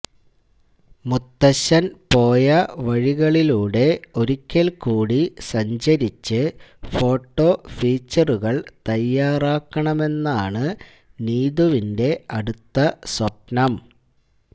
മുത്തച്ഛൻ പോയ വഴികളിലൂടെ ഒരിക്കൽകൂടി സഞ്ചരിച്ച് ഫോേട്ടാ ഫീച്ചറുകൾ തയാറാക്കണമെന്നാണ് നീതുവിെൻറ അടുത്ത സ്വപ്നം